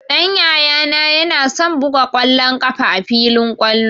Ɗan Yayana yana son buga ƙwallon ƙafa a filin kwallo